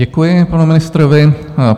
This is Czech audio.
Děkuji panu ministrovi.